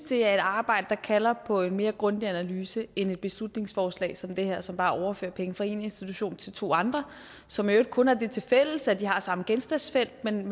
det er et arbejde der kalder på en mere grundig analyse end et beslutningsforslag som det her som bare overfører penge fra en institution til to andre som i øvrigt kun har det tilfælles at de har samme genstandsfelt men